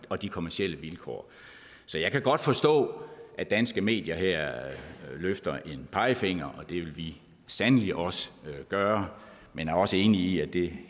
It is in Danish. og de kommercielle vilkår så jeg kan godt forstå at danske medier her løfter en pegefinger og det vil vi sandelig også gøre men er også enige i at det